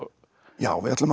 já við ætlum að